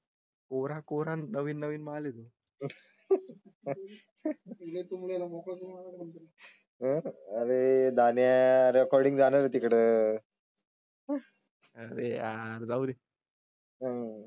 कोराकोरा, नवीन नवीन माल तो तुम्हाला मिळेल तर? अरे दाण्या रेकॉर्डिंग जाणार आहे तिकडे. अरे यार जाऊ दे.